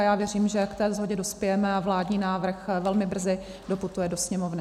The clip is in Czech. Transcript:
A já věřím, že k té shodě dospějeme a vládní návrh velmi brzy doputuje do Sněmovny.